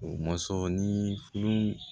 O mɔsɔn ni